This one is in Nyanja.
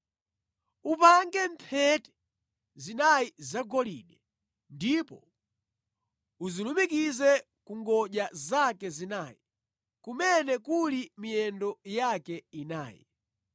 Upange mphete zinayi zagolide, ndipo uzilumikize ku ngodya zake zinayi, kumene kuli miyendo yake inayi.